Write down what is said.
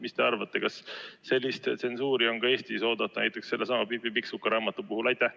Mis te arvate, kas sellist tsensuuri on ka Eestis oodata näiteks sellesama Pipi Pikksuka raamatu puhul?